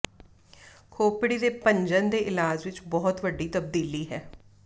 ਖੋਪੜੀ ਦੇ ਭੰਜਨ ਦੇ ਇਲਾਜ ਵਿਚ ਬਹੁਤ ਵੱਡੀ ਤਬਦੀਲੀ ਹੈ